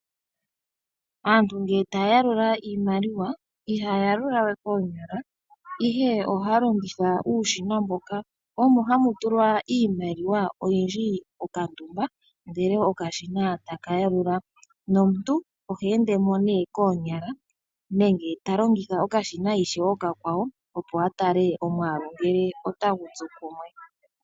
Aantu ngele taya yalula iimaliwa ihaya yalula we koonyala, ihe ohaya longitha uushina mboka omo hamu tulwa iimaliwa oyindji okandumba ndele okashina taka yalula. Nomuntu ohendemo ne koonyala nenge talongitha okashina ishewe okakwawo opo atale omwaalu ngele otagu tsu kumwe.